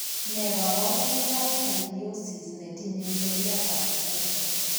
Nee kabarunoikab Tylosis netinye seriatab mwokto.